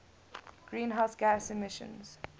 greenhouse gas emissions